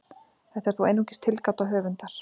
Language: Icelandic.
Þetta er þó einungis tilgáta höfundar.